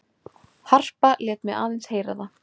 Harpa lét mig aðeins heyra það.